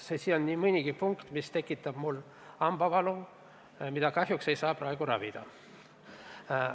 Siin on nii mõnigi punkt, mis tekitab mul hambavalu, mida praegu kahjuks ravida ei saa.